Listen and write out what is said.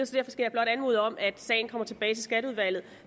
skal jeg blot anmode om at sagen kommer tilbage i skatteudvalget